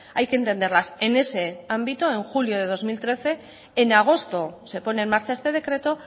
hay que entenderlas en ese ámbito en julio del dos mil trece en agosto se pone en marcha este decreto